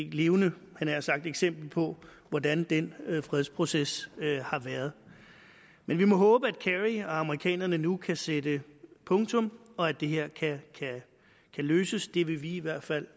et levende eksempel på hvordan den fredsproces har været men vi må håbe at kerry og amerikanere nu kan sætte punktum og at det her kan løses det vil vi i hvert fald